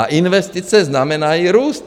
A investice znamenají růst.